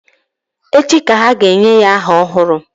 Echi ka ha ga-enye ya aha ọhụrụ